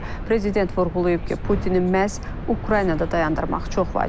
Prezident vurğulayıb ki, Putini məhz Ukraynada dayandırmaq çox vacibdir.